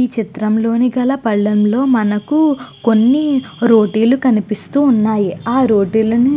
ఈ చిత్రం లో గల పళ్లెంలో మనకి రోటి లు కనిపిస్తూ వున్నాయ్. ఆ రోటిలను